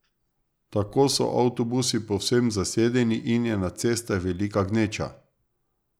Tako so avtobusi povsem zasedeni in je na cestah velika gneča.